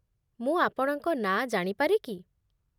ମୁଁ ଆପଣଙ୍କ ନାଁ ଜାଣିପାରେ କି?